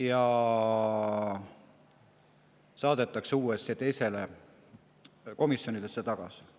ja saata see komisjoni tagasi.